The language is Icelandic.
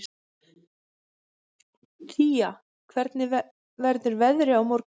Thea, hvernig verður veðrið á morgun?